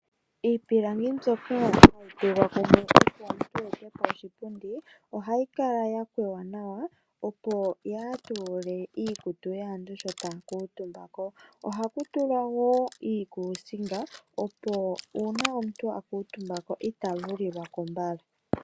Iipilangi mbyoka hayi tulwa kumwe opo omuntu ete po oshipundi ohayi kala ya kwewa nawa opo yaa tuule iikutu yaantu sho taa kuutumba ko. Ohaku tulwa woo iikusinga opo uuna omuntu a kuutumba ko ita vulilwa ko mbala.